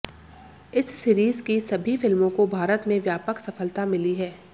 इस सीरीज की सभी फिल्मों को भारत में व्यापक सफलता मिली है